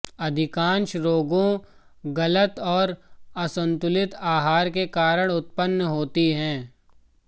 अधिकांश रोगों गलत और असंतुलित आहार के कारण उत्पन्न होती हैं